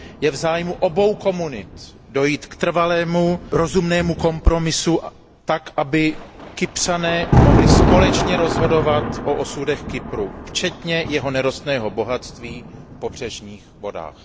Je v zájmu obou komunit dojít k trvalému rozumnému kompromisu tak, aby Kypřané mohli společně rozhodovat o osudech Kypru, včetně jeho nerostného bohatství v pobřežních vodách.